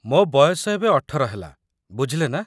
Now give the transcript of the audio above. ମୋ ବୟସ ଏବେ ୧୮ ହେଲା, ବୁଝିଲେନା?